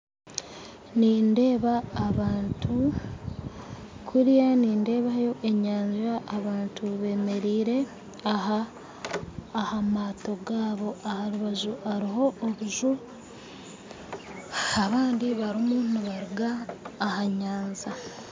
Nindeeba abantu kuriya nindeebayo enyanja abantu bemereire aha maato gaabo aha rubaju hariho obuju abandi barimu nibaruga aha nyanja.